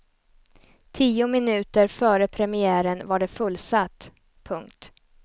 Tio minuter före premiären var det fullsatt. punkt